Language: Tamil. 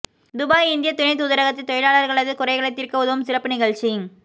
துபாய் இந்திய துணை தூதரகத்தில் தொழிலாளர்களது குறைகளை தீர்க்க உதவும் சிறப்பு நிகழ்ச்சி